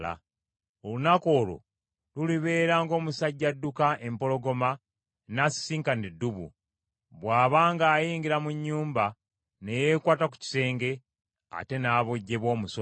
Olunaku olwo lulibeera ng’omusajja adduka empologoma n’asisinkana eddubu, bw’aba ng’ayingira mu nnyumba ne yeekwata ku kisenge, ate n’abojjebwa omusota.